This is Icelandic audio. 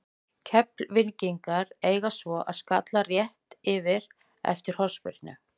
Keflvíkingarnir eiga svo skalla rétt yfir eftir hornspyrnu.